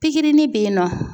Pikirinin bɛ yen nɔ.